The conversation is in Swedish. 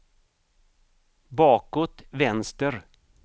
bakåt vänster